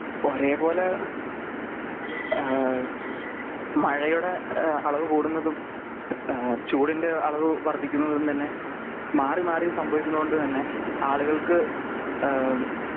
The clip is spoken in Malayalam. ഒരേപോലെ ഏഹ് മഴയുടെ ഏഹ് അളവ് കൂടുന്നതും ഏഹ് ചൂടിന്റെ അളവ് വർധിക്കുന്നതും തന്നെ മാറി മാറി സംഭവിക്കുന്നതോണ്ട് തന്നെ ആളുകൾക്ക് ഏഹ്